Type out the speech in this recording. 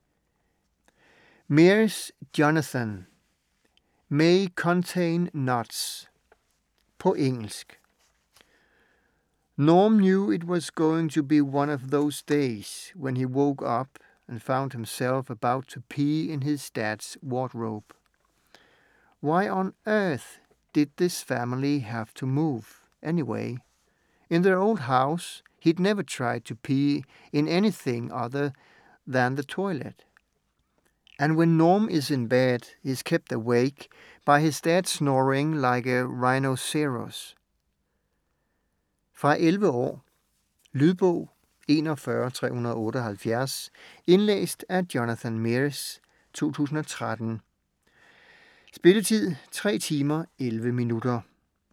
Meres, Jonathan: May contain nuts På engelsk. Norm knew it was going to be one of those days when he woke up and found himself about to pee in his dad's wardrobe. Why on Earth did his family have to move, anyway? In their old house he'd never tried to pee in anything other than the toilet. And when Norm is in bed, he's kept awake by his dad snoring like a rhinoceros! Fra 11 år. Lydbog 41378 Indlæst af Jonathan Meres, 2013. Spilletid: 3 timer, 11 minutter.